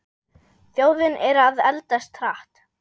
Þjóðin er að eldast hratt.